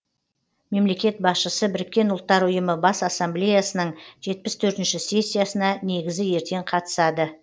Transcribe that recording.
мемлекет басшысы біріккен ұлттар ұйымы бас ассамблеясының жетпіс төртінші сессиясына негізі ертең қатысады